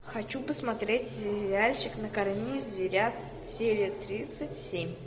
хочу посмотреть сериальчик накорми зверят серия тридцать семь